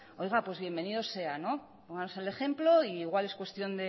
pues bienvenido sea pónganos el ejemplo e igual es cuestión